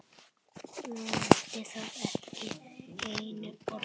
Nefndi þetta ekki einu orði.